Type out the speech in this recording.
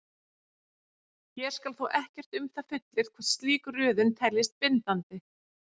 Hér skal þó ekkert um það fullyrt hvort slík röðun teljist bindandi.